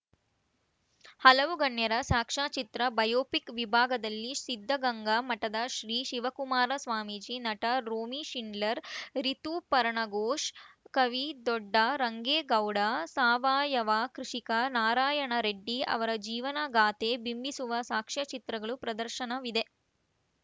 ಹಲವು ಗಣ್ಯರ ಸಾಕ್ಷ್ಯಚಿತ್ರ ಬಯೋಫಿಕ್‌ ವಿಭಾಗದಲ್ಲಿ ಸಿದ್ಧಗಂಗಾ ಮಠದ ಶ್ರೀ ಶಿವಕುಮಾರ ಸ್ವಾಮೀಜಿ ನಟ ರೋಮಿಶಿಂಡ್ಲರ್‌ ರಿತುಪರ್ಣಘೋಷ್‌ ಕವಿ ದೊಡ್ಡ ರಂಗೇಗೌಡ ಸಾವಯವ ಕೃಷಿಕ ನಾರಾಯಣ ರೆಡ್ಡಿ ಅವರ ಜೀವನಗಾಥೆ ಬಿಂಬಿಸುವ ಸಾಕ್ಷ್ಯ ಚಿತ್ರಗಳು ಪ್ರದರ್ಶನವಿದೆ